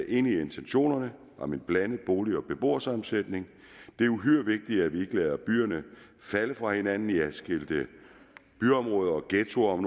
enig i intentionerne om en blandet bolig og beboersammensætning det er uhyre vigtigt at vi ikke lader byerne falde fra hinanden i adskilte byområder ghettoer om